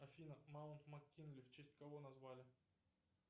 афина маунт мак кинли в честь кого назвали